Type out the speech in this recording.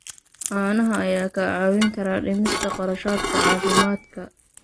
Caanaha ayaa kaa caawin kara dhimista kharashaadka caafimaadka.